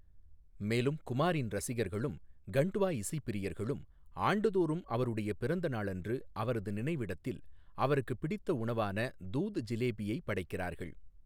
மேலும், குமாரின் ரசிகர்களும் கண்ட்வா இசைப் பிரியர்களும் ஆண்டுதோறும் அவருடைய பிறந்த நாளன்று அவரது நினைவிடத்தில் அவருக்குப் பிடித்த உணவான 'தூத் ஜிலேபியை' படைக்கிறார்கள்.